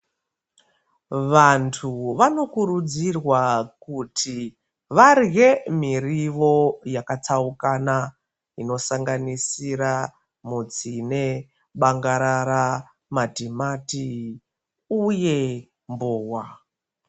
Vantu vanokurudzirwa varye mirivo yakatsaukana, inosanganisira mutsine nebangarara, matimati uye mbowa.